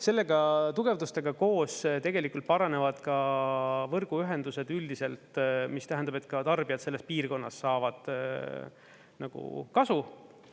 Sellega, tugevustega koos tegelikult paranevad ka võrguühendused üldiselt, mis tähendab, et ka tarbijad selles piirkonnas saavad nagu kasu.